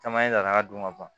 Caman ye ladaraka don ka ban